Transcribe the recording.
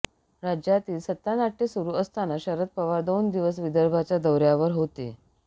राज्यातील सत्तानाट्य सुरु असताना शरद पवार दोन दिवस विदर्भाच्या दौऱ्यावर होते